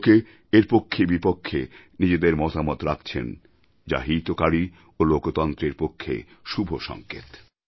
লোকে এর পক্ষেবিপক্ষে নিজেদের মতামত রাখছেন যা হিতকারী ও লোকতন্ত্রের পক্ষে শুভ সংকেত